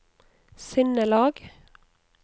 sinnelag